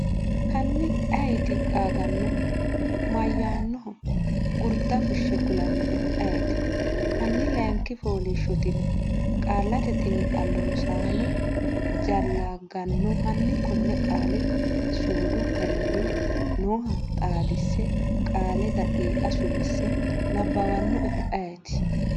Hanni ayeeti qaagannohu? mayyaannoho? gurda fushshe kulannoehu ayeeti? Hanni layinki fooliishshotina? Qaallate Xiinxallo Rosaano, jallaag ganno hanni konne qaali suudu garinni nooha xaadise qaale daqiiqa suwise nabbawannoehu ayeeti?